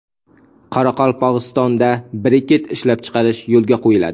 Qoraqalpog‘istonda briket ishlab chiqarish yo‘lga qo‘yiladi.